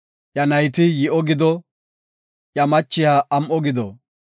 Iya nayti yi7o gido; iya machiya am7o gido.